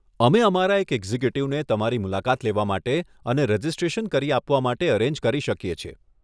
અમે અમારા એક એક્ઝિક્યુટિવને તમારી મુલાકાત લેવા માટે અને રજીસ્ટ્રેશન કરી આપવા માટે અરેન્જ કરી શકી છીએ.